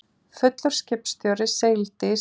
Fullur skipstjóri sigldi í strand